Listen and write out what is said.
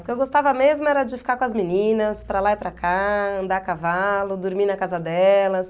O que eu gostava mesmo era de ficar com as meninas, para lá e para cá, andar a cavalo, dormir na casa delas.